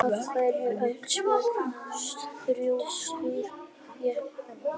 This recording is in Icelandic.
Af hverju ertu svona þrjóskur, Jenetta?